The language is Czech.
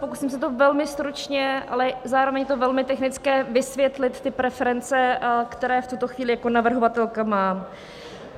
Pokusím se to velmi stručně - ale zároveň je to velmi technické - vysvětlit ty preference, které v tuto chvíli jako navrhovatelka mám.